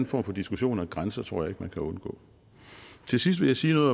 form for diskussion om grænser tror jeg man kan undgå til sidst vil jeg sige